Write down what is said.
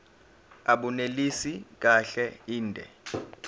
abunelisi kahle inde